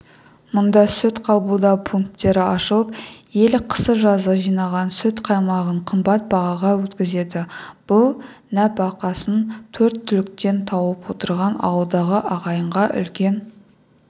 мұнда сүт қабылдау пункттері ашылып ел қысы-жазы жинаған сүт-қаймағын қымбат бағаға өткізеді бұл нәпақасын төрт түліктен тауып отырған ауылдағы ағайынға үлкен